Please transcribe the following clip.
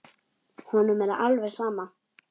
Honum er alveg sama.